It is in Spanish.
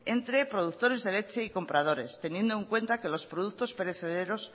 entre productores de leche y compradores teniendo en cuenta que los productos perecederos